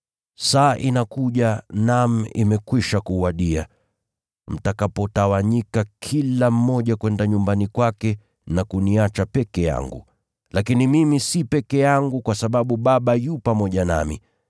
Saa inakuja, naam, imekwisha kuwadia, mtakapotawanyika kila mmoja kwenda nyumbani kwake na kuniacha peke yangu. Lakini mimi siko peke yangu kwa sababu Baba yu pamoja nami.